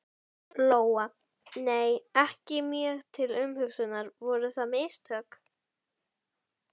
Lóa: Nei, ekki mjög til umhugsunar, voru það mistök?